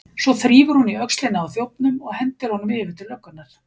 Svo þrífur hún í öxlina á þjófnum og hendir honum yfir til löggunnar.